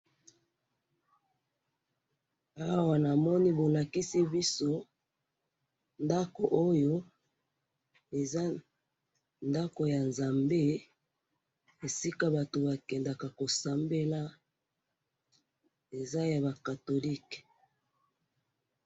Awa namoni bolakisi biso ndako oyo, eza ndako yanzambe, esika batu bakendaka kosambela, eza yaba catholic.